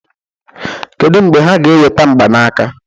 kedu mgbe ha ga-eweta mgbanaka